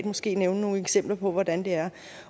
måske nævne nogle eksempler på hvordan det er